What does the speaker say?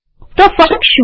તો ફર્ક શું